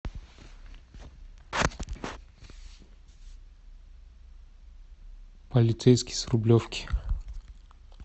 полицейский с рублевки